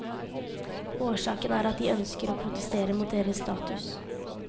Årsaken er at de ønsker å protestere mot deres status.